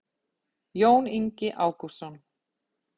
jón ingi ágústsson